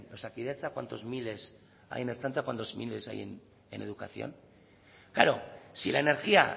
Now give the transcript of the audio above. osakidetza cuántos miles hay en la ertzaintza cuántos miles hay en educación claro si la energía